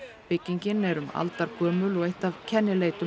byggingin er um aldargömul og eitt af kennileitum